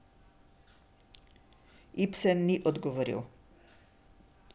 Ibsen ni odgovoril.